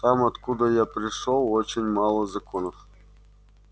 там откуда я пришёл очень мало законов